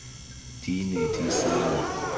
di ne di sa mo